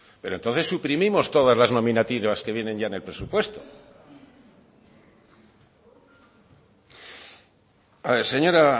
pero entonces suprimimos todas las nominativas que vienen ya en el presupuesto señora